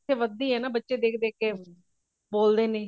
ਇਹ ਵੱਧਦੀ ਹੈ ਨਾ ਫੇਰ ਬੱਚੇ ਦੇਖ ਦੇਖ ਕੇ ਬੋਲਦੇ ਨੇ